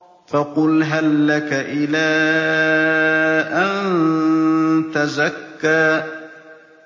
فَقُلْ هَل لَّكَ إِلَىٰ أَن تَزَكَّىٰ